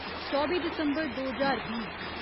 चौबी दिसम्बर दो ज्हार बीह्